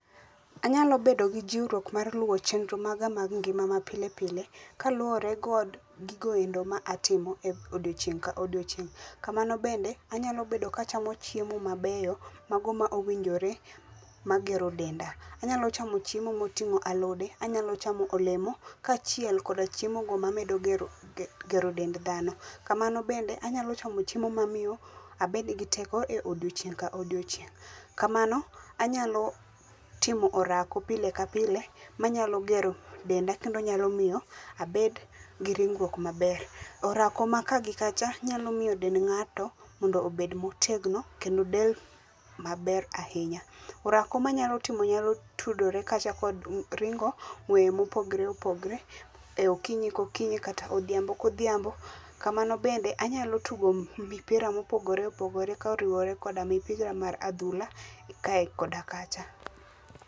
Anyalo bedo gi jiwruok mar luwo chenro maga mag ngima mapile pile kaluwore kog gigo endo matimo e odiechieng' ka odiechieng'.Kamano bende anyalo bedo ka achamo chiemo mabeyo mago ma owinjore magero denda. Anyalo chamo chiemo moting'o alode ,anyalo chamo olemo, kaachiel koda chiemo go mamedo magero dend dhano. Kamano bende anyalo chamo chiemo mamiyo abed gi teko e odiochieng' ka odiochieng'.Kamano anyalo timo orako pile ka pile manyalo gero denda kendo nyalo miyo abed gi ringruok maber. Orako ma ka gi kacha nyalo miyo dend ng'ato mondo obed motegno kendo del maber ahinya. Orako manyalo timo nyalo tudore kata kod ringo ng'weye mopogore opogore e okinyi kokinyi kata odhiambo kodhiambo. Kamano bende anyalo tugo mipira mopogore opogore koriwore koda mipira mar adhula ka koda kacha.